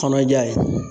Kɔnɔja ye